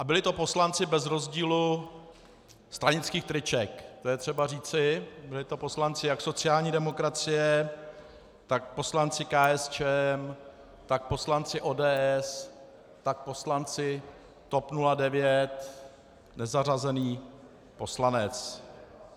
A byli to poslanci bez rozdílu stranických triček, to je třeba říci, byli to poslanci jak sociální demokracie, tak poslanci KSČM, tak poslanci ODS, tak poslanci TOP 09, nezařazený poslanec.